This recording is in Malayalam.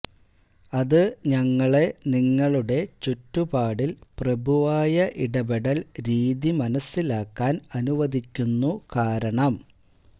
അത് ഞങ്ങളെ നിങ്ങളുടെ ചുറ്റുപാടിൽ പ്രഭുവായ ഇടപെടൽ രീതി മനസ്സിലാക്കാൻ അനുവദിക്കുന്നു കാരണം